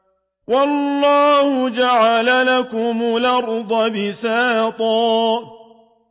وَاللَّهُ جَعَلَ لَكُمُ الْأَرْضَ بِسَاطًا